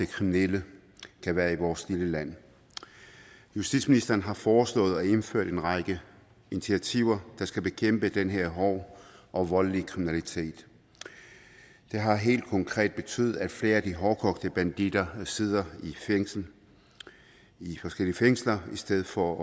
kriminelle kan være i vores lille land justitsministeren har foreslået at indføre en række initiativer der skal bekæmpe den her hårde og voldelige kriminalitet det har helt konkret betydet at flere af de hårdkogte banditter sidder i forskellige fængsler i stedet for